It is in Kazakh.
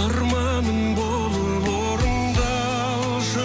арманым болып орындалшы